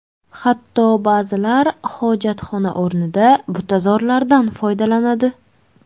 Hatto ba’zilar hojatxona o‘rnida butazorlardan foydalanadi.